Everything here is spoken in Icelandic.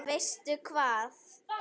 Veistu hvað?